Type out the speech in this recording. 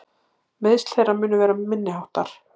Meiðsl þeirra munu vera minniháttar